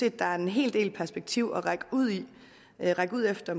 at der er en hel del perspektiver at række ud efter